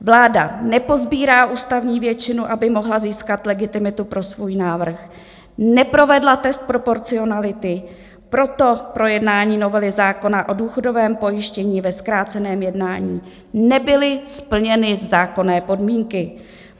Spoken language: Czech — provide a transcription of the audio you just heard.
Vláda neposbírá ústavní většinu, aby mohla získat legitimitu pro svůj návrh, neprovedla test proporcionality, proto pro jednání novely zákona o důchodovém pojištění ve zkráceném jednání nebyly splněny zákonné podmínky.